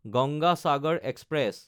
Ganga Sagar express